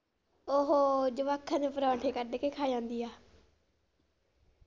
ਉਹ ਜਵਾਕਾਂ ਦੇ ਪਰੌਂਠੇ ਕੱਢ ਕੇ ਖਾ ਜਾਂਦੀ ਆ .